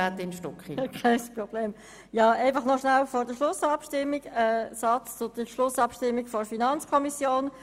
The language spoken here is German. Noch einen Satz zur Schlussabstimmung in der FiKo: